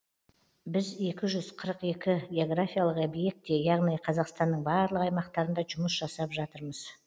біз екі жүз қырық екі географиялық объектте яғни қазақстанның барлық аймақтарында жұмыс жасап жатырмыз